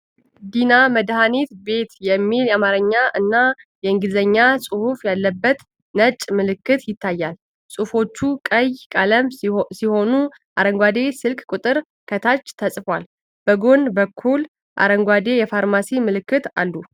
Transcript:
ዲና መድሃኒት ቤት' የሚል የአማርኛ እና የእንግሊዝኛ ጽሑፍ ያለበት ነጭ ምልክት ይታያል። ጽሁፎቹ ቀይ ቀለም ሲሆኑ፣ አረንጓዴ ስልክ ቁጥር ከታች ተጽፏል። በጎን በኩል አረንጓዴ የፋርማሲ ምልክቶች አሉ።